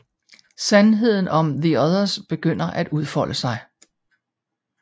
Sandheden om the Others begynder at udfolde sig